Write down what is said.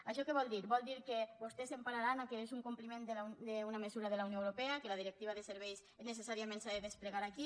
això què vol dir vol dir que vostès s’empararan en el fet que és un compliment d’una mesura de la unió europea que la directiva de serveis necessàriament s’ha de desplegar aquí